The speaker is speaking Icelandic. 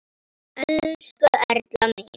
Elsku Erla mín.